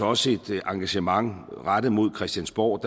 også et engagement rettet mod christiansborg